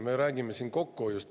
Me räägime siin kokkuhoiust.